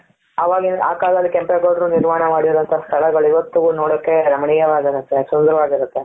ಅವಾಗಿ ಆ ಕಾಲದಲ್ಲಿ ಕೆಂಪೇಗೌಡರು ನಿರ್ಮಾಣ ಮಾಡಿರೋ ಅಂತಹ ಸ್ಥಳಗಳು ಇವತ್ತಿಗೂ ನೋಡೋಕೆ ರಮಣೀಯವಾಗಿರುತ್ತೆ ಸುಂದರವಾಗಿರುತ್ತೆ.